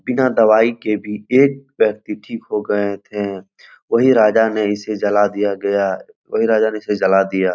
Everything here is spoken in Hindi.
बिना दवाई के भी एक व्यक्ति ठीक हो गए थे वही राजा ने इसे जला दिया गया वही राजा ने इसे जला दिया ।